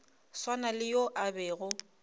swana le yo a bego